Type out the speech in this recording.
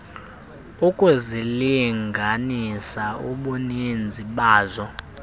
ukuzilinganisa ubuninzi bazo